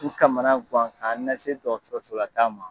U kamana guwan ka nasi dɔtɔrɔsola taama.